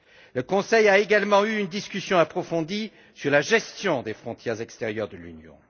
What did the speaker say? Le Conseil a également eu une discussion approfondie sur la gestion des frontières extérieures de l'Union